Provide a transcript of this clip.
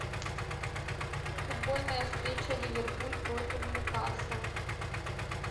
футбольная встреча ливерпуль против ньюкасл